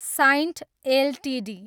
Cyient Ltd